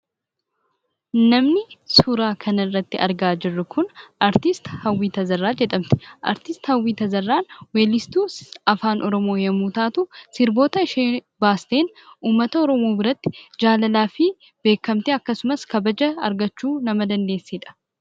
Namni suuraa kana irratti argaa jirru kun artiist Hawwii Tazarraa jedhamti. Artiisti Hawwii Tazarraan weellistuu Afaan Oromoo yeroo taatu, sirboota isheen baasteen uummata Oromoo biratti jaalalaafi beekkamtii akkasumas kabaja argachuu nama dandeessedha.